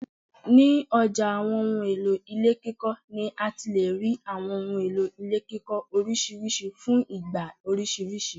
Ni ọjà àwọn ohùn èlò ilé kíkọ ni àti lè rí àwọn ohun èlò ilé kíkọ orisirisi fún ìgbà orisirisi